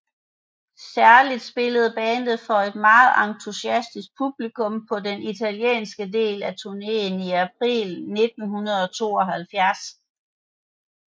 Særligt spillede bandet for et meget entusiastisk publikum på den italienske del af turneen i april 1972